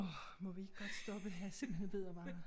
Åh må vi ikke godt stoppe jeg er simpelthen ved at være